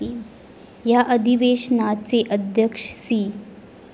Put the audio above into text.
या अधिवेशनाचे अध्यक्ष सी.